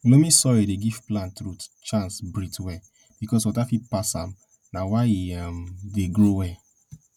loamy soil dey give plant root chance breathe well because water fit pass am na why e um dey grow well